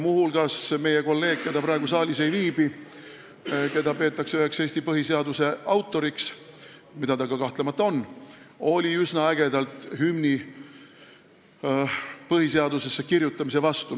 Muu hulgas oli meie kolleeg, kes praegu saalis ei viibi ja keda peetakse üheks põhiseaduse autoriks, mida ta ka kahtlemata on, üsna ägedalt hümni põhiseadusesse kirjutamise vastu.